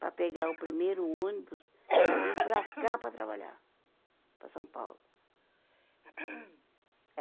para pegar o primeiro ônibus para vir para cá para trabalhar, para São Paulo.